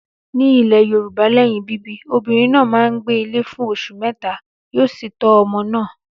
Ní ilẹ̀ Yorùbá lẹ́yìn bíbí, obìnrin náà máa ń gbé ilé fún oṣù mẹ́ta, yóò sì tọ́ ọmọ náà.